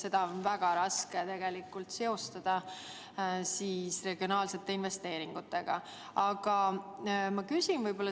Seda on väga raske seostada regionaalsete investeeringutega.